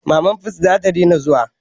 Mama fut zata daina zuwa